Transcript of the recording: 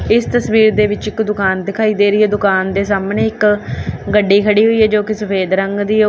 ਇਸ ਤਸਵੀਰ ਦੇ ਵਿੱਚ ਇੱਕ ਦੁਕਾਨ ਦਿਖਾਈ ਦੇ ਰਹੀ ਹੈ ਦੁਕਾਨ ਦੇ ਸਾਹਮਣੇ ਇੱਕ ਗੱਡੀ ਖੜੀ ਹੋਈ ਹੈ ਜੋ ਕਿ ਸਫੇਦ ਰੰਗ ਦੀ--